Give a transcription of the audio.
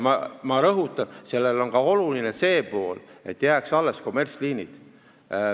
Ma rõhutan, et oluline on ka see, et jääksid alles kommertsliinid.